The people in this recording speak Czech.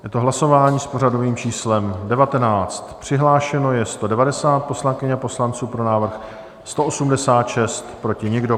Je to hlasování s pořadovým číslem 19, přihlášeno je 190 poslankyň a poslanců, pro návrh 186, proti nikdo.